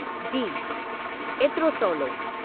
जी, एतिरो सवलो।